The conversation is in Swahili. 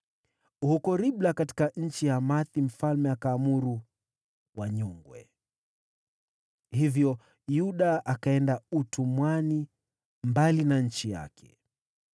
Huko Ribla, katika nchi ya Hamathi, mfalme wa Babeli akaamuru wanyongwe. Hivyo Yuda wakaenda utumwani, mbali na nchi yao.